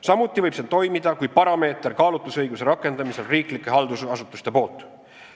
Samuti võib see toimida kui parameeter kaalutlusõiguse rakendamisel riiklike haldusasutuste poolt.